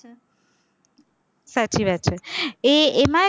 સાચી વાત છે, એ એમાં